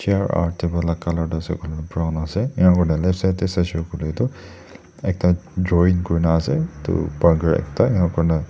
chair aro table la colour tu ase koilae tu brown ase enakurina left side tae saishey koilae tu ekta drawing kurina ase edu burger ekta enakurina--